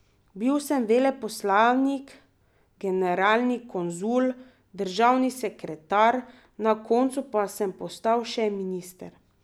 Bil sem veleposlanik, generalni konzul, državni sekretar, na koncu pa sem postal še minister.